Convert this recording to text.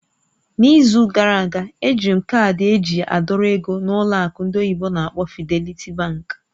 N'izu gara aga, ejiri m kaadị eji a dọrọ ego na ụlọ akụ ndị oyibo n'akpọ "Fidelity Bank".